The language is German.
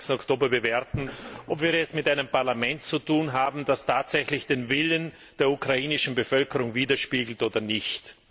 28. Oktober bewerten, ob wir es mit einem Parlament zu tun haben, das tatsächlich den Willen der ukrainischen Bevölkerung widerspiegelt oder nicht.